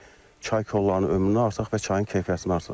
Çay kollarının ömrünü artıraq və çayın keyfiyyətini artıraq.